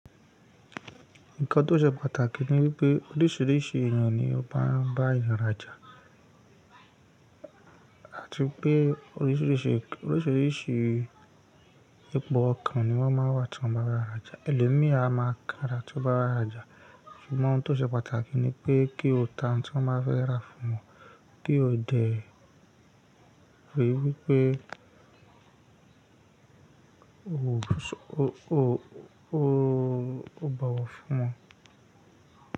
Nǹkan tó ṣe pàtàkì ni wípé oríṣiríṣi ènìyàn ni ó máa ń bá èyàn ràjà, àti pé oríṣiríṣi oríṣiríṣi ipò ọkàn ni wọ́n máa ń wà tí wọ́n bá ràjà. Elòmíràn a máa kanrà tí o bá wà ràjà, ṣùgbọ́n nǹkan tó ṣe pàtàkì ni pé kí o tan tí wọ́n bá fẹ́ ra fún ọ, kí o dẹ̀ wípé, ó, o bọwọ̀ fún wọn.